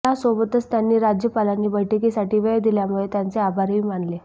यासोबतच त्यांनी राज्यपालांनी बैठकीसाठी वेळ दिल्यामुळे त्यांचे आभारही मानले